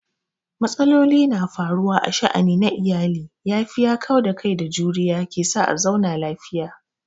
Matsaloli na faruwa a sha'ani na iyali, yafiya, kauda kai da juriya ke sa a zauna lafiya.